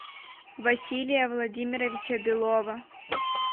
василия владимировича белова